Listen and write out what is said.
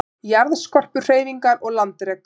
Jarðskorpuhreyfingar og landrek